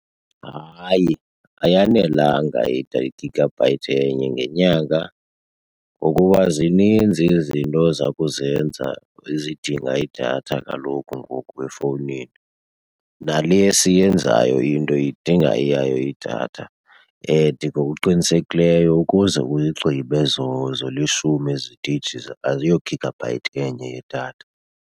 Hayi ayanelanga i-gigabyte enye ngenyanga. Ngokuba zininzi izinto zokuzenza ezidinga idatha kaloku ngoku efowunini, Nale yiva siyenzayo into idinga eyayo idatha and ngokuqinisekileyo ukuze uyigqibe zolishumi ezi 'teyiji aziyo-gigabyte enye yedatha.